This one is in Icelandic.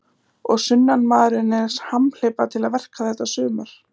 Og sunnanmaðurinn er hamhleypa til verka þetta sumar.